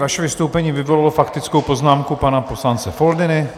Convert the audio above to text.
Vaše vystoupení vyvolalo faktickou poznámku pana poslance Foldyny.